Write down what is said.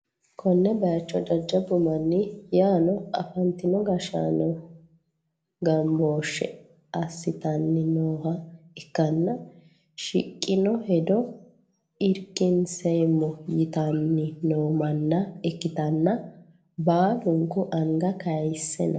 konne bayicho jajjabbu manni yaano afantino gashshaano gambooshshe assitanni nooha ikkanna, shiqqino hedo irkinseemmo yitanni no manna ikkitanna, baalunku anga kayiise no.